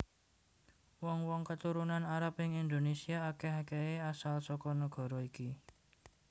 Wong wong keturunan Arab ing Indonésia akèh akèhé asal saka nagara iki